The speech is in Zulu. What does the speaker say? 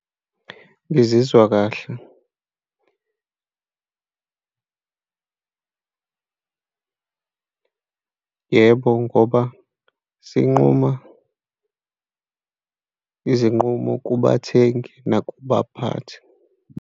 Ngizizwa kahle, yebo, ngoba sinquma izinqumo kubathengi nakubaphathi.